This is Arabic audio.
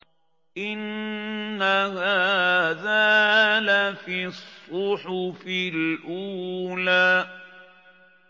إِنَّ هَٰذَا لَفِي الصُّحُفِ الْأُولَىٰ